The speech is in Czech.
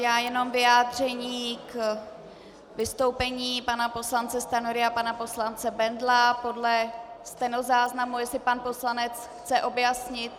Já jenom vyjádření k vystoupení pana poslance Stanjury a pana poslance Bendla podle stenozáznamu, jestli pan poslanec chce objasnit.